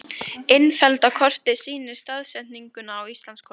Innfellda kortið sýnir staðsetninguna á Íslandskorti.